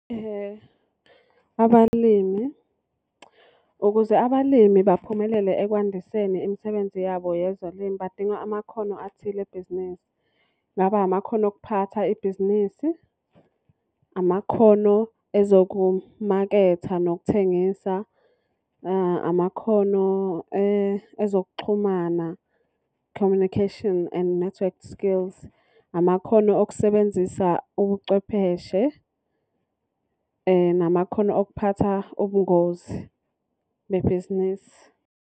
Abalimi. Ukuze abalimi baphumelele ekwandiseni imisebenzi yabo yezolimo badinga amakhono athile ebhizinisi. Kungaba amakhono okuphatha ibhizinisi. Amakhono ezokumaketha nokuthengisa. Amakhono ezokuxhumana, Communication and Network Skills. Amakhono okusebenzisa ubucwepheshe. Namakhono okuphatha ubungozi bebhizinisi.